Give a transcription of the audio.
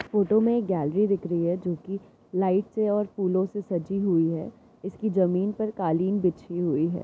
Photo में एक gallery दिख रही है जो कि लाइट से और फूलों से सजी हुई है इसकी जमीन पर कालीन बिछी हुई है।